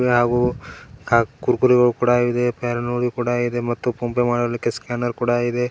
ಹಾಗೂ ಕ- ಕುರ್ಕುರೆಗುಳ್ ಕೂಡ ಇದೆ ಫೇರ್ ಅಂಡ್ ಲವ್ಲಿ ಕೂಡ ಇದೆ ಮತ್ತೆ ಫೋನ್ ಪೇ ಮಾಡ್ಲಿಕ್ಕೆ ಸ್ಕ್ಯಾನರ್ ಕೂಡ ಇದೆ.